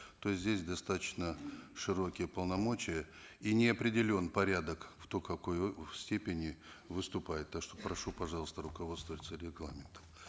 то есть здесь достаточно широкие полномочия и не определен порядок кто в какой степени выступает так что прошу пожалуйста руководствоваться регламентом